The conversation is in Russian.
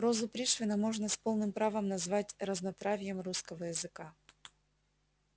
прозу пришвина можно с полным правом назвать разнотравьем русского языка